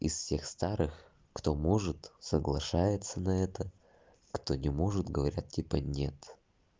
из всех старых кто может соглашается на это кто не может говорят типа нет